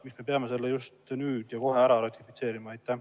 Miks me peame selle just nüüd ja kohe ära ratifitseerima?